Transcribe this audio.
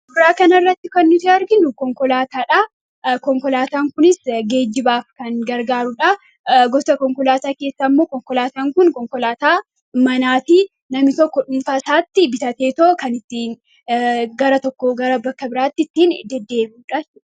Suuraa kana irratti kan nuti arginu, konkolaataadha. Konkolaataan kunis geejibaaf kan nu gargaarudha. Gosa konkolaataa keessaa immoo konkolaataan Kun konkolaataa manaati. Namni tokko dhuunfaa isaatti bitatee kan gara tokkoo gara biraatti deddeebi'udha jechuudha.